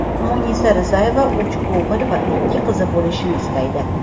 Munisa Rizayeva uch o‘g‘il va ikki qizi bo‘lishini istaydi.